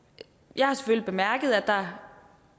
jeg har selvfølgelig bemærket at der